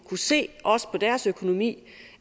kunne se på deres økonomi